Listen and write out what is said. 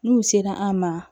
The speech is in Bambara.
N'u sera an ma